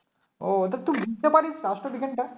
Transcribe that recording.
ও ঐটা তুই বুঝতে পারিস রাষ্ট্রবিজ্ঞানটা